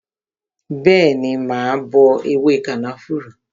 Bẹẹni, mà á bọ ewé kànáfùrú